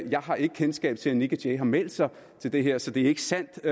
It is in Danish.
jeg har ikke kendskab til at nick jay har meldt sig til det her så det er ikke sandt